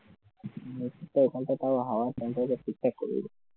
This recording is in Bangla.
ওখানটায় হাওয়া